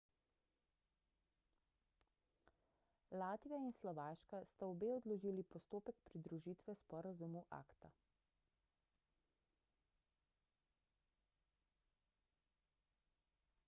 latvija in slovaška sta obe odložili postopek pridružitve sporazumu acta